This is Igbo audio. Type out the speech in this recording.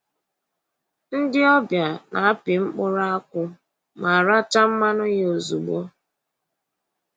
Ndị ọbịa na-apị mkpụrụ akwụ ma rachaa mmanụ ya ozugbo